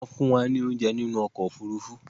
Wọ́n fún wa ní óunjẹ nínú ọkò òfurufú